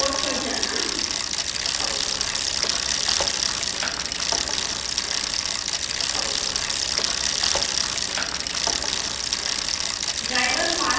usb port पर जाना